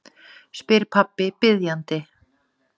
spyr pabbi biðjandi.